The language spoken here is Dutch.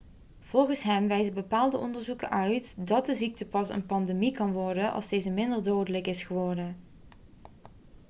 volgens hem wijzen bepaalde onderzoeken uit dat de ziekte pas een pandemie kan worden als deze minder dodelijk is geworden